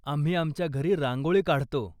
आम्ही आमच्या घरी रांगोळी काढतो.